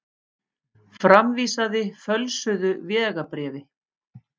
Framvísaði fölsuðu vegabréfi